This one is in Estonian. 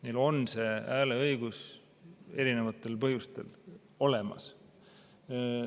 Neil on see hääleõigus erinevatel põhjustel olemas.